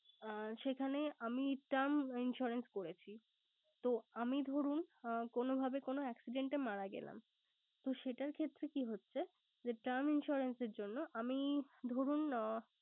আর সেখানে আমি term insurance করেছি। তো আমি ধরুন কোন ভাবে কোন accident এ মারা গেলাম। তো সেটার ক্ষেত্রে কি হচ্ছে যে term insurance এর জন্য আমি ধরুন আহ